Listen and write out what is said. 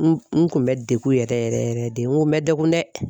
N kun bɛ degun yɛrɛ yɛrɛ yɛrɛ de n kun bɛ degun dɛ.